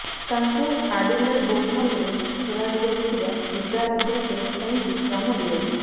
ତାଙ୍କୁ ଆଡିଲେଡ ଓଭାଲରେ ଖେଳାଯିବାକୁ ଥିବା ଦିବାରାତ୍ର ଟେଷ୍ଟ ପାଇଁ ବିଶ୍ରାମ ଦିଆଯିବ